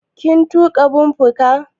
Kin tuƙa bumper car?